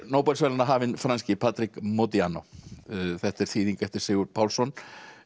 Nóbelsverðlaunahafinn franski Patrick Modiano þetta er þýðing eftir Sigurð Pálsson